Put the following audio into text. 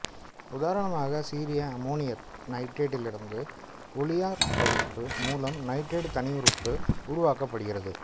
உதாரணமாக சீரிய அமோனியநைட்ரேட்டிலிருந்து ஒளியாற்பகுப்பு மூலம் நைட்ரேட்டு தனியுறுப்பு உருவாக்கப்படுகிறது